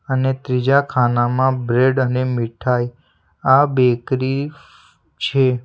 અને ત્રીજા ખાનામાં બ્રેડ અને મીઠાઈ આ બેકરી છે.